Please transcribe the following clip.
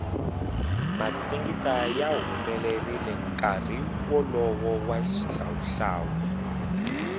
masingita ya humelerile nkarhi wolowo wa xihlawu hlawu